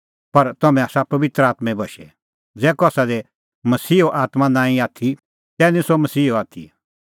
पर ज़ै तम्हां दी परमेशरो आत्मां बस्सा तै निं तम्हैं देहीए पापी सभाबे बशै आथी पर तम्हैं आसा पबित्र आत्में बशै ज़ै कसा दी मसीहे आत्मां नांईं आथी तै निं सह मसीहो आथी